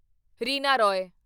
Reena Roy